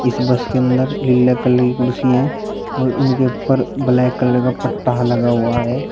इस बस के अंदर नीले कलर कुर्सी हैं और उनके ऊपर ब्लैक कलर का पट्टा लगा हुआ है।